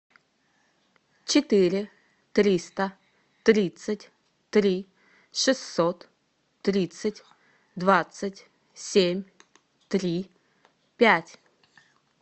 четыре триста тридцать три шестьсот тридцать двадцать семь три пять